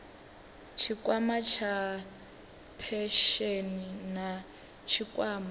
tshikwama tsha phesheni na tshikwama